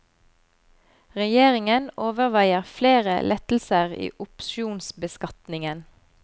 Regjeringen overveier flere lettelser i opsjonsbeskatningen.